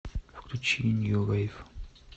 включи нью вейв